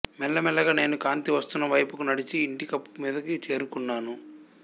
మెల్లమెల్లగా నేను కాంతివస్తున్న వైపుకి నడచి ఇంటికప్పు మీదకి చేరుకున్నాను